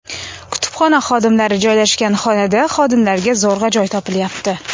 Kutubxona xodimlari joylashgan xonada xodimlarga zo‘rg‘a joy topilyapti.